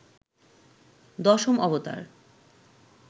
দশম অবতার